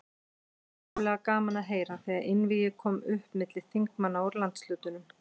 Það var ákaflega gaman að heyra, þegar einvígi kom upp milli þingmanna úr landshlutunum.